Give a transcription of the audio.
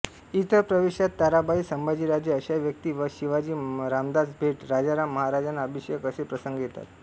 इतर प्रवेशांत ताराबाई संभाजीराजे अशा व्यक्ती व शिवाजीरामदास भेट राजाराम महाराजांना अभिषेक असे प्रसंग येतात